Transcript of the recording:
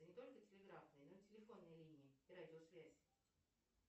не только телеграфные но и телефонные линии и радиосвязь